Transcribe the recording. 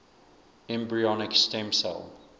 embryonic stem cell